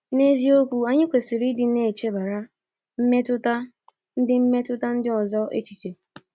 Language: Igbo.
N’eziokwu, anyị kwesịrị ịdị na-echebara mmetụta ndị mmetụta ndị ọzọ echiche.